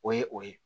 O ye o ye